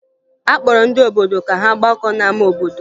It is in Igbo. A kpọrọ ndị obodo ka ha gbakọọ n'ama obodo